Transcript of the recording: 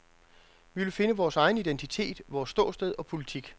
Vi vil finde vores egen identitet, vores ståsted og politik.